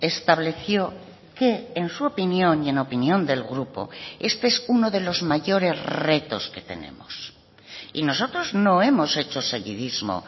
estableció que en su opinión y en opinión del grupo este es uno de los mayores retos que tenemos y nosotros no hemos hecho seguidismo